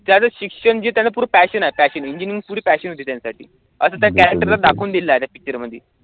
त्यांच शिक्षण जे त्याच पूरं passion आहे passion engineering पुरी passion होती त्यांच्यासाठी असं त्या character ने दाखवून दिलं direct picture मधी